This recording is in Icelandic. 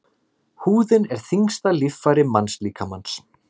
Húðin er þyngsta líffæri mannslíkamans.